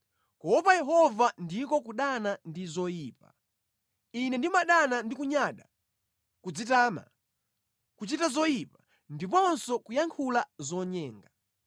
Kuopa Yehova ndiko kudana ndi zoyipa. Ine ndimadana ndi kunyada, kudzitama, kuchita zoyipa, ndiponso kuyankhula zonyenga.